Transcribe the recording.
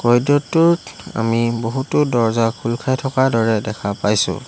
আমি বহুতো দৰ্জ্জা খোল খাই থকাৰ দৰে দেখা পাইছোঁ।